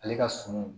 Ale ka sumanw